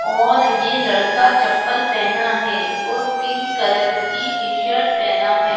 और ये लड़का चप्पल पेहना है और पिंक कलर की टीशर्ट पेहना है।